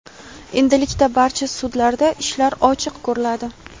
Endilikda barcha sudlarda ishlar ochiq ko‘riladi.